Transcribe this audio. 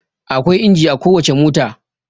Akwai inji a kowace mota.